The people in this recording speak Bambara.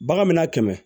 Bagan mi na kɛmɛ